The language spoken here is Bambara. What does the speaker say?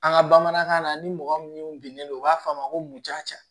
An ka bamanankan na ni mɔgɔ min binnen don u b'a fɔ a ma ko mun ja